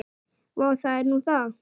Vá, það er nú það.